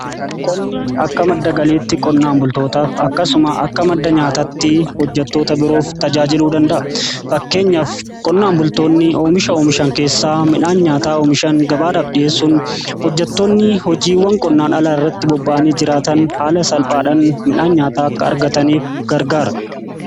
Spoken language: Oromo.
Qonni akka madda galiitti qonnaan bultootaaf akkasuma akka madda nyaataatti hojjatoota biroof tajaajiluu danda'a. Fakkeenyaafi qonnaan bultoonni oomisha oomishan keessaa midhaan nyaataa oomishan gabaadhaaf dhi'eessun hojjatoonni hojiiwwan qonnaan alaa irratti bobba'anii jiraatan haala salphaadhan midhaan nyaata akka argataniif gargaara.